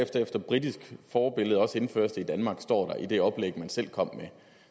efter britisk forbillede også indføres i danmark står der i det oplæg man selv kom med